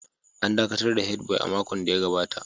An dakatar da Head boy a makon da ya gabata